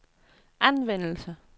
anvendelse